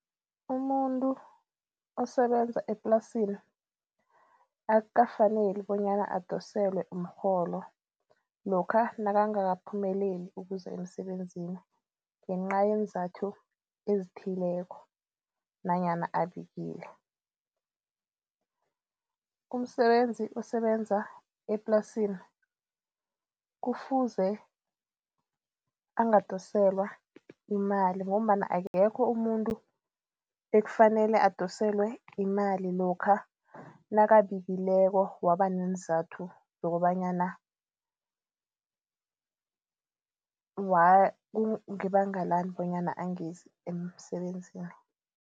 Umuntu osebenza eplasini akukafaneli bonyana adoselwe umrholo lokha nakangakaphumeleli ukuza emsebenzini ngencayenzathu ezithileko nanyana abikile. Umsebenzi osebenza eplasini kufuze angadoselwa imali ngombana akekho umuntu ekufanele adoselwe imali lokha nakabileko waba neenzathu zokobanyana kungebanga lani bonyana angezi emsebenzini.